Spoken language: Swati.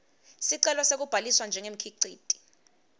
sicelo sekubhaliswa njengemkhiciti